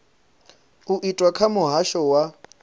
u itwa kha muhasho wa